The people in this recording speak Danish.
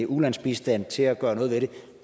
ulandsbistand til at gøre noget ved det